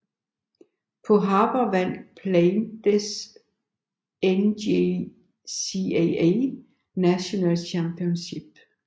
På Harper vandt Blaydes NJCAA National Championship